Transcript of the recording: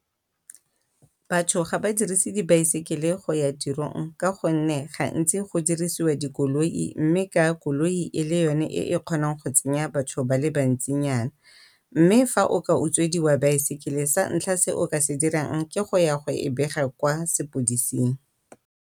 Batho ga ba dirise di bicycle go ya tirong ka gonne gantsi go dirisiwa dikoloi mme ka koloi e le yone e kgonang go tsenya batho ba le bantsinyana. Mme fa o ka utswediwa bicycle santlha se o ka se dirang ke go ya go e bega kwa sepodising.